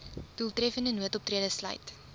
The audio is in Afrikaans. doeltreffende noodoptrede sluit